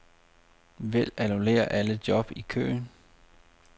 Vælg annullér alle job i køen.